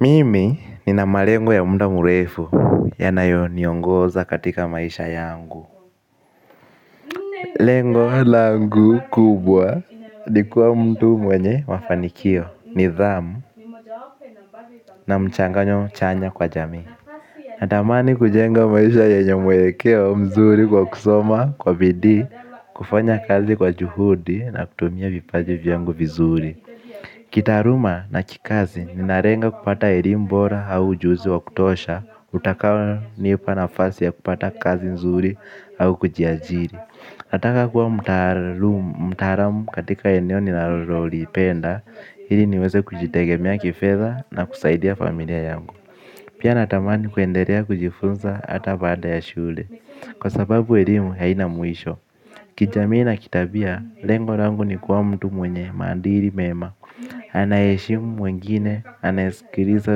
Mimi nina malengo ya muda mrefu yanayoniongoza katika maisha yangu. Lengo langu kubwa ni kuwa mtu mwenye mafanikio nidhamu na mchanganyo chanya kwa jamii. Natamani kujenga maisha yenye mwelekeo mzuri kwa kusoma kwa bidii kufanya kazi kwa juhudi na kutumia vipaji vyangu vizuri. Kitaaruma na kikazi ni narenga kupata erim bora au ujuzi wa kutosha utakao nipa na fasi ya kupata kazi nzuri au kujiajiri nataka kuwa mtaalum mtaaram katika eneo ni narololipenda ili niweze kujitegemea kifedha na kusaidia familia yangu pia natamani kuendelea kujifunza hata baada ya shule kwa sababu elimu haina mwisho kijamii na kitabia lengo langu ni kuwa mtu mwenye maadili mema anayeheshimu mwengine, anayesikiriza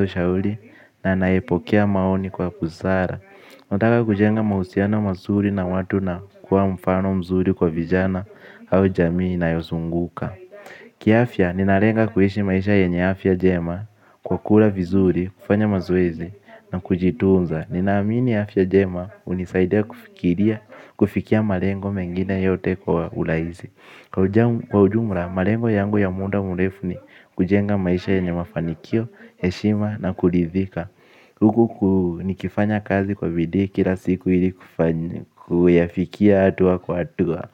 ushauli na anayepokea maoni kwa busara. Nataka kujenga mahusiano masuri na watu na kuwa mfano mzuri kwa vijana au jamii nayosunguka. Kiafya, ninarenga kuishi maisha yenye afya jema kwa kula vizuri, kufanya mazoezi na kujitunza. Ninaamini afya jema hunisaidia kufikiria kufikia marengo mengine yote kwa ulaisi. Kwa ujumra, malengo yangu ya muda mulefu ni kujenga maisha yenye mafanikio, heshima na kulidhika. Kuku ni kifanya kazi kwa bidii kila siku ili kufanya, kuyafikia hatua kwa hatua.